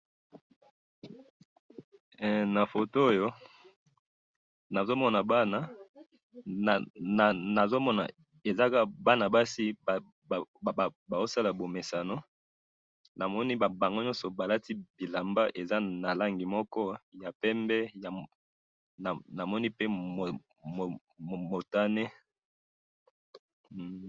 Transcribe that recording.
na photo oyo nazomona bana, nazomona eza kaka bana basi bazosala bomesano, namoni bango nyoso balati bilamba eza na rangi moko ya pembe namoni pe motane